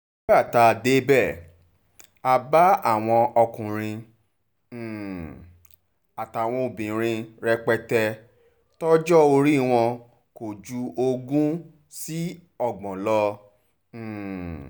nígbà tá a débẹ̀ a bá àwọn ọkùnrin um àtàwọn obìnrin rẹpẹtẹ tọjọ́ orí wọn kò ju ogún sí ọgbọ̀n lọ um